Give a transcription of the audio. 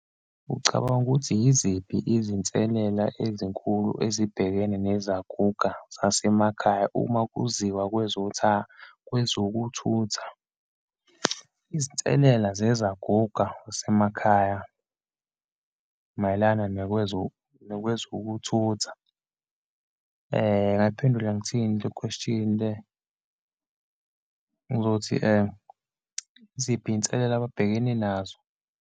Ucabanga ukuthi yiziphi izinselela ezinkulu ezibhekene nezaguga zasemakhaya uma kuziwa kwezokuthutha? Izinselela zezaguga zasemakhaya mayelana nakwezokuthutha. Ngingayiphendula ngithini le question le? Ngizothi, yiziphi izinselelo ababhekene nazo?